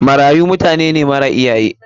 Marayu mutanene mara iyaye.